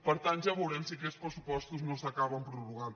per tant ja veurem si aquests pressupos·tos no s’acaben prorrogant